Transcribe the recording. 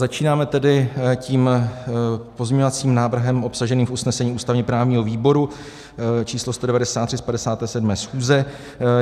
Začínáme tedy tím pozměňovacím návrhem obsaženým v usnesení ústavně-právního výboru číslo 193 z 57. schůze.